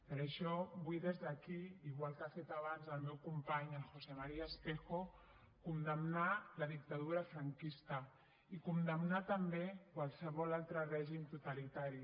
per això vull des d’aquí igual que ha fet abans el meu company el josé maría espejo condemnar la dictadura franquista i condemnar també qualsevol altre règim totalitari